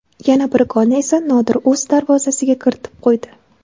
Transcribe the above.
Yana bir golni esa Nodir o‘z darvozasiga kiritib qo‘ydi.